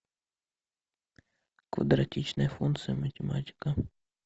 квадратичная функция математика